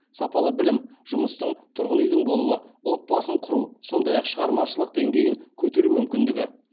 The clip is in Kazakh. сапалы білім жұмыстың тұрғын үйдің болуы отбасын құру сондай ақ шығармашылық деңгейін көтеру мүмкіндігі